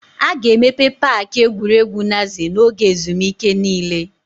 A ga-emepe paaki egwuregwu Naze n'oge ezumike niile.